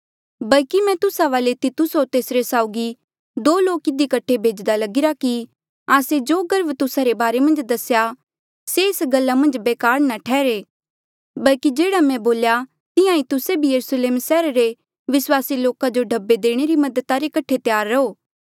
बल्की मैं तुस्सा वाले तितुस होर तेसरे साउगी दो लोक इधी कठे भेज्दा लगिरा कि आस्से जो गर्व तुस्सा रे बारे मन्झ दसेया से एस गल्ला मन्झ बेकार ना ठैहरे बल्की जेह्ड़ा मैं बोल्या तिहां ईं तुस्से भी यरुस्लेम सैहरा रे विस्वासी लोका जो ढब्बे देणे री मददा रे कठे त्यार रहो